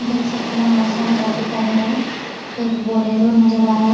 देख सकते है यहाँ बहुत सारा घर दिखाई दे रहा है एक बोलेरो नजर आ रहा है।